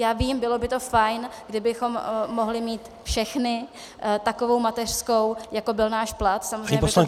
Já vím, bylo by to fajn, kdybychom mohli mít všechny takovou mateřskou, jako byl náš plat, samozřejmě by to bylo příjemné.